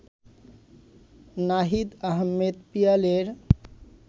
Nahid Ahmed পিয়ালের